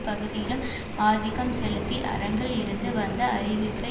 பகுதியிலும் ஆதிக்கம் செலுத்தி அரங்கில் இருந்து வந்த அறிவிப்பை